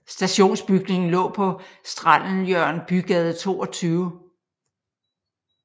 Stationsbygningen lå på Strandelhjørn Bygade 22